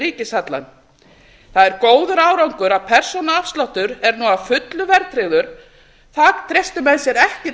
við ríkishallann það er góður árangur að persónuafsláttur er nú að fullu verðtryggður það treystu menn sér ekki